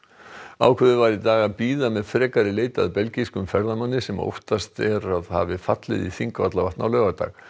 ákveðið var í dag að bíða með frekari leit að belgískum ferðamanni sem óttast er að hafi fallið í Þingvallavatn á laugardag